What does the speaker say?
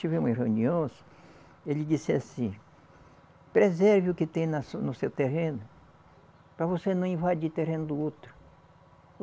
Tivemos reuniões, ele disse assim, preserve o que tem no seu terreno, para você não invadir terreno do outro.